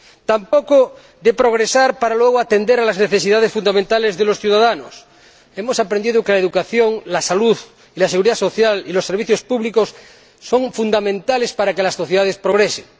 Tampoco de progresar para luego atender a las necesidades fundamentales de los ciudadanos hemos aprendido que la educación, la salud, la seguridad social y los servicios públicos son fundamentales para que las sociedades progresen.